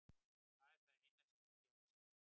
Það er það eina sem ég get sagt.